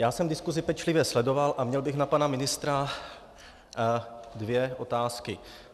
Já jsem diskuzi pečlivě sledoval a měl bych na pana ministra dvě otázky.